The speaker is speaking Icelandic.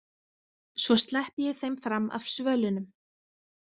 Svo sleppi ég þeim fram af svölunum.